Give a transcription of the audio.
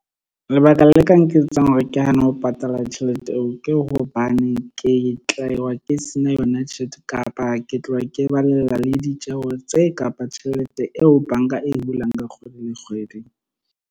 Lebaka le ka nketsang hore ke hane ho patala tjhelete eo, ke hobane ke tla e, wa, ke se na yona tjhelete kapa ke tloha ke balela ditjeho tse kapa tjhelete eo bank-a e hulang ka kgwedi le kgwedi.